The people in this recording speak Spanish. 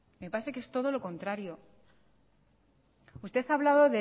me parece que es todo lo contrario usted ha hablado